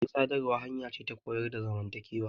Kafar sadarwa hanya ce ta koyar da zamantakewa.